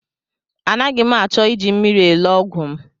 Anaghị m achọ iji mmiri elo ọgwụ m.